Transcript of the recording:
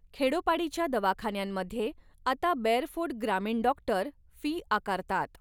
खेडोपाडीच्या दवाखान्यांमध्ये आता बेअरफूट ग्रामीण डॉक्टर फी आकारतात.